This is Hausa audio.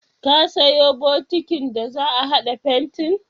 Ka sayo bokitin da za a haɗa fentin?